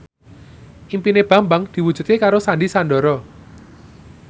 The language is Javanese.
impine Bambang diwujudke karo Sandy Sandoro